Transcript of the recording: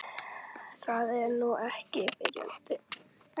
Það er nú ekki. byrjaði Sveinn.